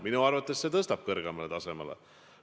Minu arvates see tõstab teda hoopis kõrgemale tasemele.